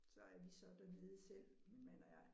Så er vi så dernede selv min mand og jeg